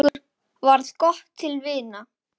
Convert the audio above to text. Okkur varð gott til vina.